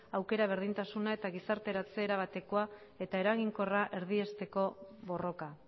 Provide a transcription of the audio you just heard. aukera berdintasuna eta gizarteratze erabatekoa eta eraginkorra erdiesteko borroka